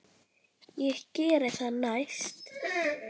Ég geri það næst.